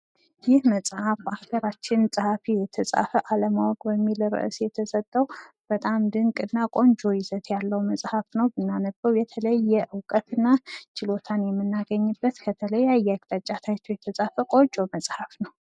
ይህ መጽሃፍ በሀገራችን ጸሀፊ የተጻፈ፣ አለማወቅ የሚል ርእስ የተሰጠዉ በጣም ድንቅና ቆንጆ ይዘት ያለው መጽሀፍ ነው ፤ ብናነበዉ የተለየ እዉቀት እና ችሎታ የምናገኝበት ከተለያየ አቅጣጫ ታይቶ የተጻፈ ቆንጆ መጽሃፍ ነው።